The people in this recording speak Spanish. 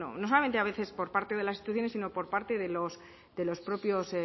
a veces por parte de las instituciones sino por parte de los propios